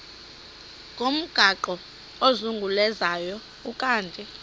ngomgaqo ozungulezayo ukanti